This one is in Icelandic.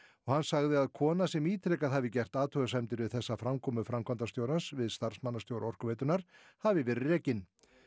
hann sagði að kona sem ítrekað hafi gert athugasemdir við þessa framkomu framkvæmdastjórans við starfsmannastjóra Orkuveitunnar hafi verið rekin